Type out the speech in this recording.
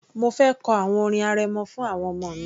Mo fẹ kọ àwọn orin arẹmọ fún àwọn ọmọ mi